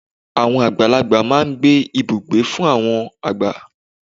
Àwọn àgbàlagbà máa n gbé Ibùgbé fún àwọn àgbà